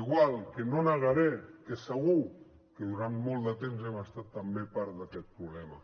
igual que no negaré que segur que durant molt de temps hem estat també part d’aquest problema